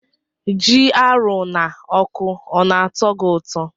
Ji arụ na ọkụ ọna atọ gi ụtọ?